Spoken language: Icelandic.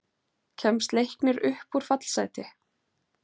Kemst Leiknir upp úr fallsæti?